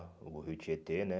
O rio Tietê, né?